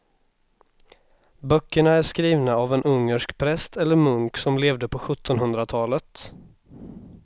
Böckerna är skrivna av en ungersk präst eller munk som levde på sjuttonhundratalet.